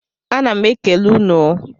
A ná m ekele unu o